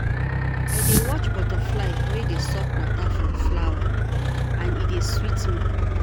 I dey watch butterfly wey dey suck water from flower and e dey sweet me.